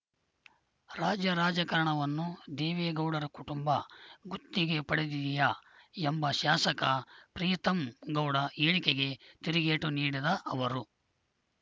ರಾಜ್ಯ ರಾಜಕಾರಣವನ್ನು ದೇವೇಗೌಡರ ಕುಟುಂಬ ಗುತ್ತಿಗೆ ಪಡೆದಿದೆಯಾ ಎಂಬ ಶಾಸಕ ಪ್ರೀತಂ ಗೌಡ ಹೇಳಿಕೆಗೆ ತಿರುಗೇಟು ನೀಡದ ಅವರು